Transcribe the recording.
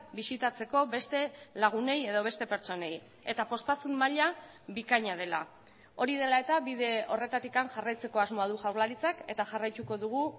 bisitatzeko beste lagunei edo beste pertsonei eta poztasun maila bikaina dela hori dela eta bide horretatik jarraitzeko asmoa du jaurlaritzak eta jarraituko dugu